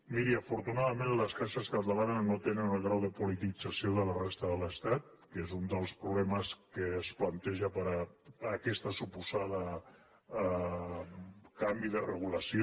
miri afortunadament les caixes catalanes no tenen el grau de politització que a la resta de l’estat que és un dels problemes que es planteja per aquest suposat canvi de regulació